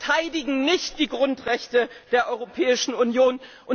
Sie verteidigen nicht die Grundrechte der Europäischen Union.